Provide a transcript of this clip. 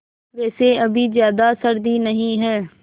वैसे अभी ज़्यादा सर्दी नहीं है